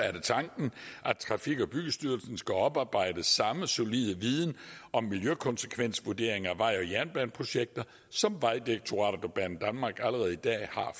tanken at trafik og byggestyrelsen skal oparbejde samme solide viden om miljøkonsekvensvurderinger af vej og jernbaneprojekter som vejdirektoratet og banedanmark allerede i dag